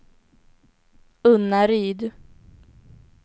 Unnaryd